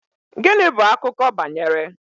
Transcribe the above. Gịnị bụ akụkọ banyere?